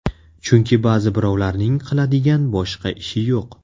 Chunki ba’zi birovlarning qiladigan boshqa ishi yo‘q!